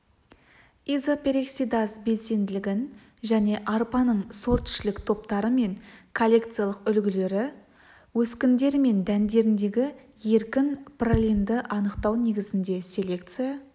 изопероксидаз белсенділігін және арпаның сортішілік топтары мен коллекциялық үлгілері өскіндері мен дәндеріндегі еркін пролинді анықтау негізінде селекция